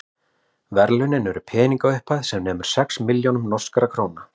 verðlaunin eru peningaupphæð sem nemur sex milljónum norskra króna